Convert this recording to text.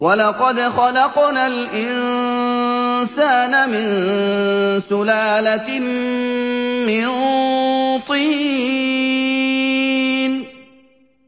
وَلَقَدْ خَلَقْنَا الْإِنسَانَ مِن سُلَالَةٍ مِّن طِينٍ